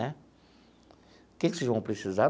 Né o que que vocês vão precisar?